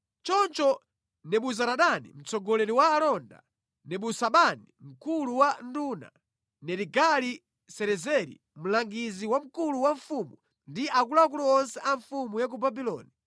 Choncho Nebuzaradani mtsogoleri wa alonda, Nebusazibani mkulu wa nduna, Nerigali-Sarezeri mlangizi wamkulu wa mfumu ndi akuluakulu onse a mfumu ya ku Babuloni